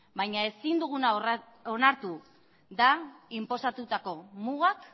baina ezin duguna onartu da inposatutako mugak